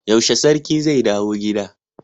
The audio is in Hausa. Yaushe sarki zai dawo gida